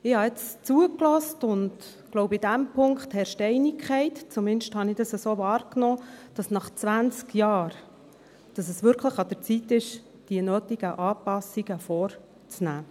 Ich habe jetzt zugehört und ich glaube, in diesem Punkt herrscht Einigkeit – zumindest habe ich das so wahrgenommen: dass es nach zwanzig Jahren wirklich an der Zeit ist, die nötigen Anpassungen vorzunehmen.